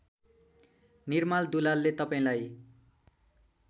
निर्माल दुलालले तपाईँलाई